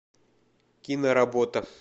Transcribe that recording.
киноработа